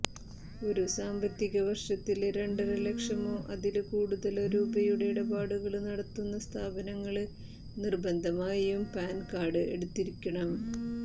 ഒരു സാമ്പത്തിക വര്ഷത്തില് രണ്ടര ലക്ഷമോ അതില് കൂടുതലോ രൂപയുടെ ഇടപാടുകള് നടത്തുന്ന സ്ഥാപനങ്ങള് നിര്ബന്ധമായും പാന് കാര്ഡ് എടുത്തിരിക്കണം